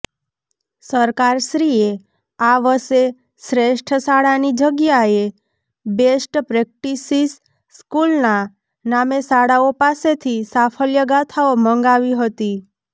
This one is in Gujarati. સરકારશ્રીએ આ વષે શ્રેષ્ઠ શાળાની જગ્યાએ બેસ્ટ પ્રેક્ટિસીસ સ્કુલનાં નામે શાળાઓ પાસેથી સાફલ્યગાથાઓ મંગાવી હતી